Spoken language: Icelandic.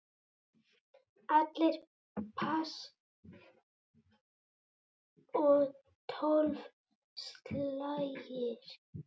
Allir pass og tólf slagir.